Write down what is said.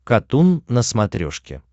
катун на смотрешке